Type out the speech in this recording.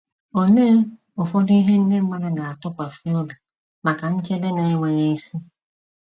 Olee ụfọdụ ihe ndị mmadụ na - atụkwasị obi maka nchebe na-enweghị isi?